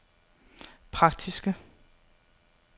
praktiske